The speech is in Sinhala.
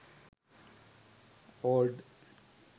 old